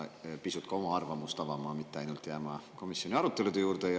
Sa oled pisut ka oma arvamust avaldanud, mitte ainult jäänud komisjoni arutelude juurde.